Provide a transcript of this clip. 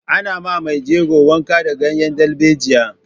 Ana ma mai jego wanka da ganyen dalbejiya.